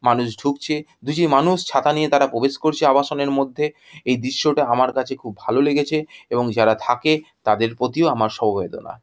মানুষ ঢুকছে। দুটি মানুষ ছাতা নিয়ে তারা প্রবেশ করছে আবাসনে মধ্যে। এই দৃশ্যটি আমার কাছে খুব ভালো লেগেছে এবং যারা থাকে তাদের প্রতিও আমার সমবেদনা।